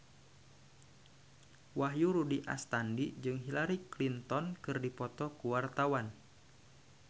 Wahyu Rudi Astadi jeung Hillary Clinton keur dipoto ku wartawan